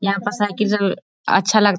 यहाँ पर साइकिल सब अच्छा लग--